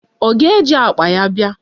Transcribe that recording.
Ọ ga-eji akpa ya bịa?